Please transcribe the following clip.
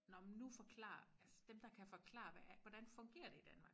Nå man nu forklarer altså dem der kan forklare hvad er hvordan fungerer det i Danmark